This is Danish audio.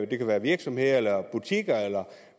det kan være virksomheder butikker eller